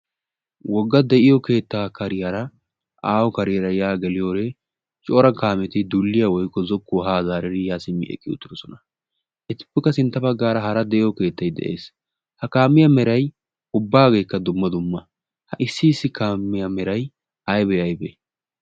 Wogga de"iyo keettaa kariyaara aaho kariyara ya geliyode cora kaameti dulliya woykko zokkuwa haa zaaridi yaa simmdi eqqi uttidosona. Etuppekka sintta baggaara hara de"iyo keettay de'ees. Ha kaamiya meray ubbaagekka dumma dumma. Ha issi issi kaamiya meray aybee aybee?